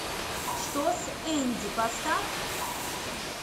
что с энди поставь